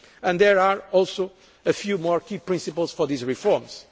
together. There are also a few more key principles for these